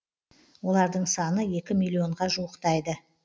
олардың саны екі миллионға жуықтайды